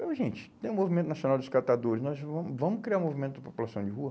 Falei, oh gente, tem o Movimento Nacional dos Catadores, nós vamos, vamos criar um movimento de população de rua?